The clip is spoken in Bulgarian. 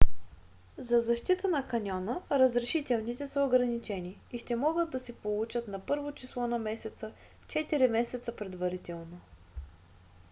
за защита на каньона разрешителните са ограничени и ще могат да се получат на 1-во число на месеца четири месеца предварително